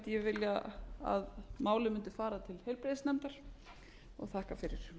ég til að málið muni fara til heilbrigðisnefndar og þakka fyrir